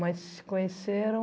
Mas se conheceram.